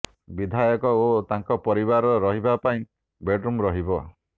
ବିଧାୟକ ଓ ତାଙ୍କ ପରିବାର ରହିବା ପାଇଁ ବେଡ୍ ରୁମ୍ ରହିବ